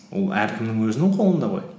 ол әркімнің өзінің қолында ғой